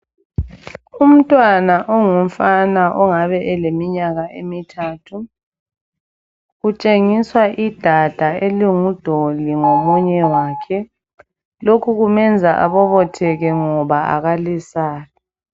Umntwana ongumfana ongabe eleminyaka emithathu, utshengiswa idada elingudoli ngomunye wakhe, lokhu kumenza abobotheke ngoba kalesabi.